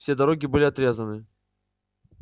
все дороги были отрезаны